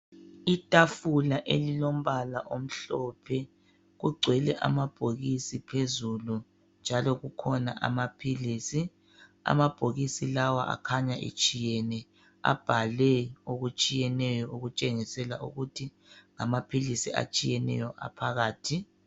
Itafula elilombala omhlophe ligcwele amabhokisi phezulu njalo phakathi alawo mabhokisi kulamaphilisi akhanya etshiyene okubhalwe okutshiyeneyo okutshengisela ukuthi amaphilisi aphakathi atshiyene.